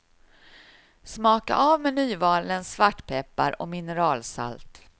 Smaka av med nymalen svartpeppar och mineralsalt.